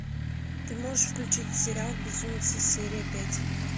ты можешь включить сериал безумцы серия пять